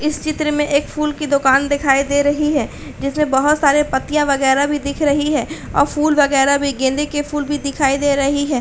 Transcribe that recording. इस चित्र में एक फूल की दुकान दिखाई दे रही है। जिसमें बहोत सारे पत्तियां वगैरा भी दिख रही है और फूल वगैरा भी गेंदे के फूल भी दिखाई दे रहे हैं।